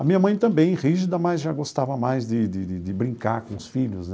A minha mãe também, rígida, mas já gostava mais de de de de brincar com os filhos né.